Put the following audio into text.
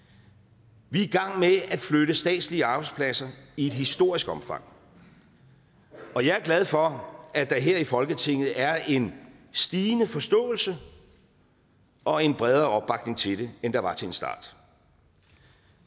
vi er i gang med at flytte statslige arbejdspladser i et historisk omfang og jeg er glad for at der her i folketinget er en stigende forståelse og en bredere opbakning til det end der var til en start